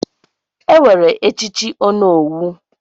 Enwere echichi onowu.